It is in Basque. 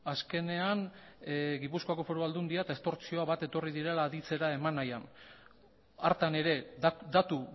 azkenean gipuzkoako foru aldundia eta estortzioa bat etorri direla aditzera eman nahian hartan ere datu